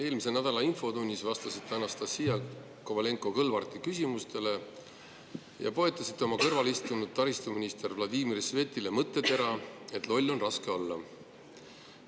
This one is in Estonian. Eelmise nädala infotunnis vastasite Anastassia Kovalenko-Kõlvarti küsimustele ja poetasite kõrvalistunud taristuminister Vladimir Svetile mõttetera, et loll on raske olla.